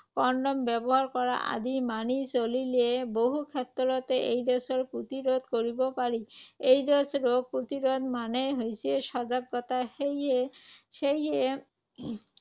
Condom ব্যৱহাৰ কৰা আদি মানি চলিলে বহু ক্ষেত্ৰতs এইড্‌ছ প্ৰতিৰোধ কৰিব পাৰি। এইড্‌ছ ৰোগ প্ৰতিৰোধ মানেই হৈছে সজাগতা। সেয়ে, সেয়ে